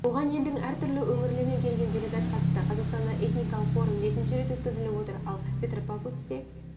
оған елдің әртүрлі өңірлерінен келген делегат қатысты қазақстандағы этникалық форум жетінші рет өтізіліп отыр ал петропавлскте